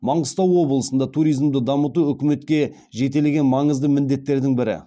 маңғыстау облысында туризмді дамыту үкіметке жетелеген маңызды міндеттердің бірі